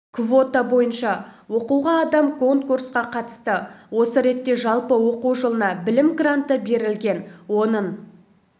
квота бойынша оқуға адам конкурсқа қатысты осы ретте жалпы оқу жылына білім гранты берілген оның